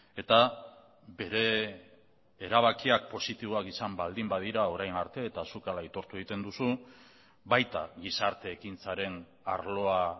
eta bere erabakiak positiboak izan baldin badira orain arte eta zuk hala aitortu egiten duzu baita gizarte ekintzaren arloa